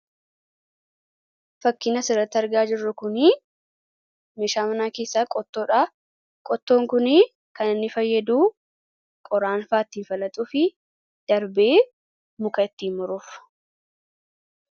Fakkiin asirratti argaa jirru kunii meeshaa manaa keessaa qottoodha. Qottoon kunii kan inni fayyadu qoraanfaa ittiin falaxuufi darbee muka ittiin muruuf